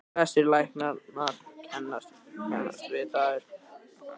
Flestir læknar kannist við þær.